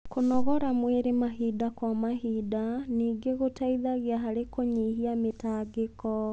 Kũnogora mwĩrĩ mahinda kwa mahinda ningĩ gũteithagia harĩ kũnyihia mĩtangĩko